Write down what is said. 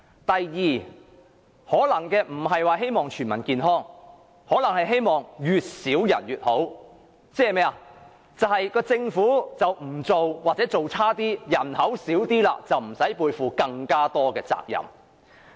第二，他們可能並非希望全民健康，而是希望越少人便越好，即是政府不作為或做得差一點，人口便會減少，那便不用背負更多責任。